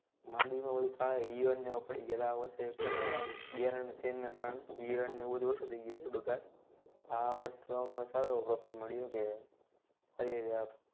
માંડવીમાં ઈયળ ને એવું પડી ગયા હતા. આ વર્ષે ઘણા બિયારણના change ના કારણે ઈયળ ને બધું ઓછું થઇ ગયું છે બગાળ. આ વર્ષે અમને સારો એવો profit મળ્યું